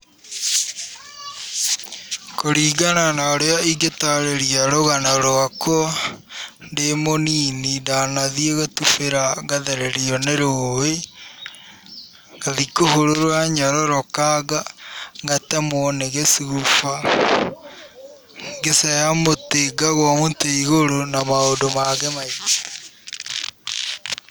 Kũringana na ũrĩa ingatarĩria rũgana rũakũa ndĩ mũnini ndanathia gũtubĩra ngathererio nĩ rũĩ ngathiĩ kũhũra nyororoka ngatemũo nĩ gĩcuba, ngĩceha mũti ngagũa mũtĩ igũrũ na maũndũ mangĩ maingĩ.